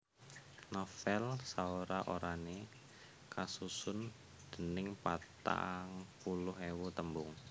Novèl saora orané kasusun dèning patang puluh ewu tembung